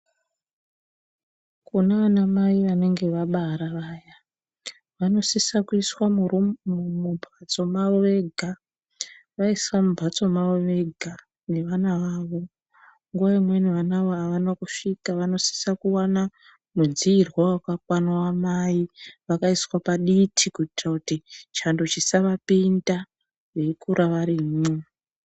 Kunana mai vanenge vabara vaya vanosisa kuiswa mumhatso mavo vega vaiswa mumhatso mavo vega nevana vavo nguwa imweni vanawo avana kusvika vanosisa kuwana mudziirwa wamai vakaiswa paditi kuitira kuti chando chisavapinda veikura varimwo.